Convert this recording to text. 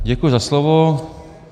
Děkuji za slovo.